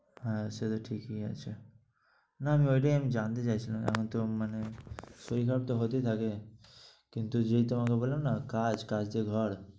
হ্যাঁ সেটা ঠিকই আছে। না আমি ঐটাই আমি জানতে চাইছিলাম আমি তো মানে শরীর খারাপ তো হতেই থাকে। কিন্তু যেই তোমাকে বললাম না কাজ কাজ দিয়ে ঘর